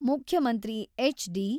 ಮುಖ್ಯಮಂತ್ರಿ ಎಚ್.ಡಿ.